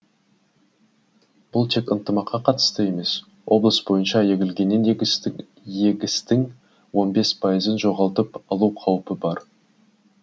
бұл тек ынтымаққа қатысты емес облыс бойынша егілген егістің он бес пайызын жоғалтып алу қаупі бар